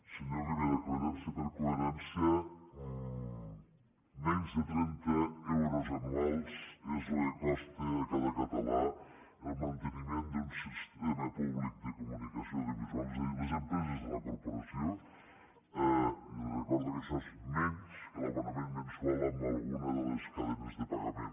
senyor rivera coherència per coherència menys de trenta euros anuals és el que costa a cada català el manteniment d’un sistema públic de comunicació audiovisual és a dir les empreses de la corporació i li recordo que això és menys que l’abonament mensual a alguna de les cadenes de pagament